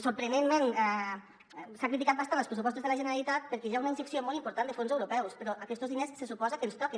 sorprenentment s’han criticat bastant els pressupostos de la generalitat perquè hi ha una injecció molt important de fons europeus però aquestos diners se suposa que ens toquen